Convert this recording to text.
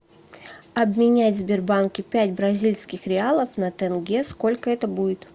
обменять в сбербанке пять бразильских реалов на тенге сколько это будет